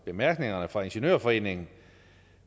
bemærkningerne fra ingeniørforeningen